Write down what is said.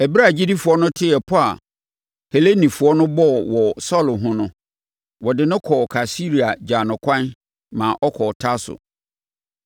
Ɛberɛ a agyidifoɔ no tee pɔ a Helenifoɔ no bɔɔ wɔ Saulo ho no, wɔde no kɔɔ Kaesarea gyaa no ɛkwan ma ɔkɔɔ Tarso.